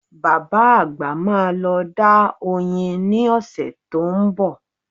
Bàbá àgbà máa lọ dá oyin ní ọ̀sẹ̀ tó ń bọ̀